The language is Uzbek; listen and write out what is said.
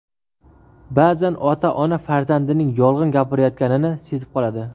Ba’zan ota-ona farzandining yolg‘on gapirayotganini sezib qoladi.